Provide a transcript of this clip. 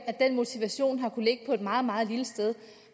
den motivation har kunnet ligge på et meget meget lille sted